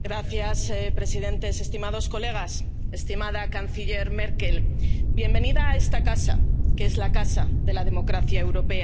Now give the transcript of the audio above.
Señor presidente, estimados colegas, estimada canciller Merkel, bienvenida a esta casa, que es la casa de la democracia europea.